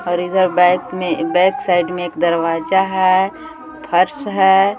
और इधर बैक में बैक साइड में एक दरवाजा है फर्श है।